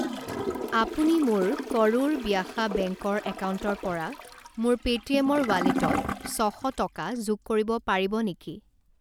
আপুনি মোৰ কৰুৰ ব্যাসা বেংক ৰ একাউণ্টৰ পৰা মোৰ পে'টিএমৰ ৱালেটত ছ শ টকা যোগ কৰিব পাৰিব নেকি?